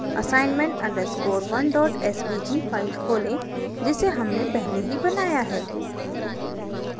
assignment _ 1 svg file खोलें जिसे हमने पहले ही बनाया है